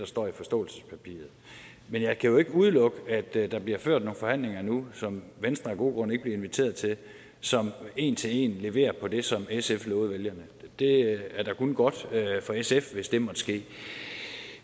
står i forståelsespapiret men jeg kan jo ikke udelukke at der bliver ført nogle forhandlinger nu som venstre af gode grunde ikke bliver inviteret til og som en til en leverer på det som sf lovede vælgerne det er da kun godt for sf hvis det måtte ske